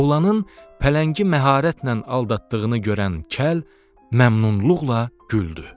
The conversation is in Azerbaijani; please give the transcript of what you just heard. Oğlanın pələngi məharətlə aldatdığını görən kəl məmnunluqla güldü.